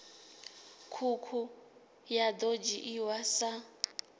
ṱhukhu ya ḓo dzhiiwa sa